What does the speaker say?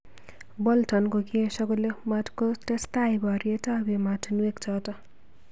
Bolton kokiesho kole matkotestai boriet ab emotunwek chotok.